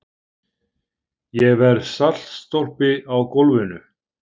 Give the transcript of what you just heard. Ég verð saltstólpi á gólfinu.